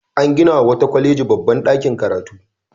An ginawa wata kwaleji babban ɗakin karatu.